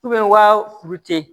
waa kuru ten